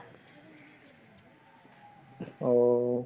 অ'